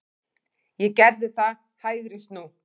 Ég gerði það, hægri snú.